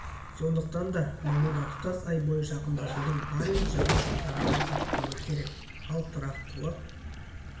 сондықтан да мамырда тұтас ай бойы жақындасудың барлық жаңа жолдарын байқап көру керек ал тұрақтылық